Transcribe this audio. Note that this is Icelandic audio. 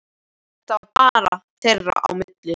Þetta var bara þeirra á milli.